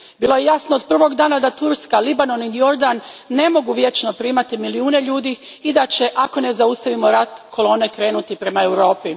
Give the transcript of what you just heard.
Bilo je jasno od prvog dana da Turska, Libanon i Jordan ne mogu vječno primati milijune ljudi i da će, ako ne zaustavimo rat, kolone krenuti prema Europi.